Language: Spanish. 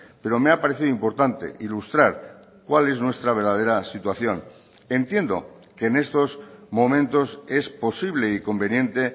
pero me ha parecido importante ilustrar cuál es nuestra verdadera situación entiendo que en estos momentos es posible y conveniente